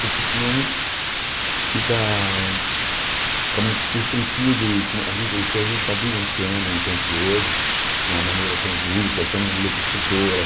Porque senão fica fica muito sem sentido com a gen o que a gente está vivenciando no tempo de hoje, de uma maneira tão esdrúxula, tão enlouquecedora.